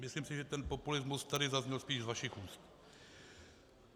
Myslím si, že ten populismus tady zazněl spíš za vašich úst.